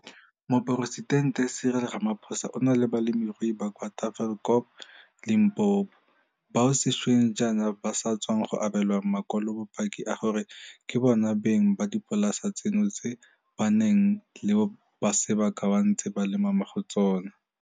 Moporesitente Cyril Ramaphosa o na le balemirui ba kwa Tafelkop, Limpopo, bao sešweng jaana ba sa tswang go abelwa makwalobopaki a gore ke bona beng ba dipolasa tseno tseo ba nang le sebaka ba ntse ba lema mo go tsona.